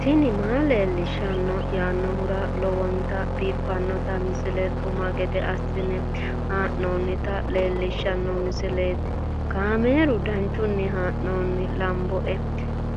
tini maa leelishshanno yaannohura lowonta biiffanota misile xuma gede assine haa'noonnita leellishshanno misileeti kaameru danchunni haa'noonni lamboe